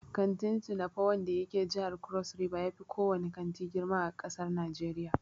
Kantin "Tinapa" wanda yake jihar Crossriver yafi ko wane kanti girma a ƙasar Najeriya.